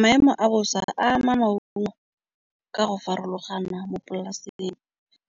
Maemo a bosa a ama maungo ka go farologana mo polasing.